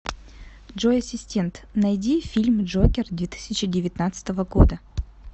джой ассистент найди фильм джокер две тысячи девятнадцатого года